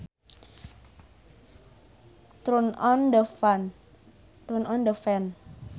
Turn on the fan